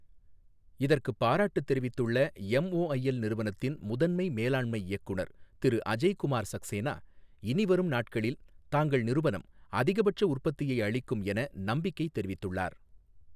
இதற்குப் பாராட்டு தெரிவித்துள்ள எம்ஒஐஎல் நிறுவனத்தின் முதன்மை மேலாண்மை இயக்குநர் திரு அஜய் குமார் சக்சேனா, இனிவரும் நாட்களில் தாங்கள் நிறுவனம், அதிகபட்ச உற்பத்தியை அளிக்கும் என நம்பிக்கை தெரிவித்துள்ளார்.